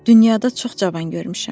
Dünyada çox cavan görmüşəm.